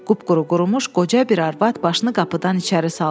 Qupquru qurumuş qoca bir arvad başını qapıdan içəri saldı.